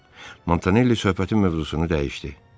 Montanelli söhbətin mövzusunu dəyişdi.